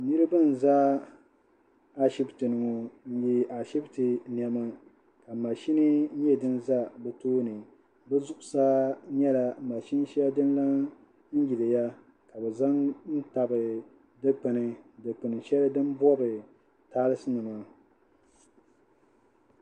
Niriba n-za ashibiti n-ye ashibiiti nɛma ka mashinni nyɛ din za bɛ toonibɛ zuɣusaa nyɛla mashini shɛli din lan yiliya ka bɛ za n-tabi dukpuni dukpuni shɛli din bɔbi taasinima